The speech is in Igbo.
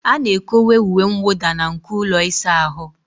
A na-ekowe uwe mwụda na nko ụlọ ịsa ahụ.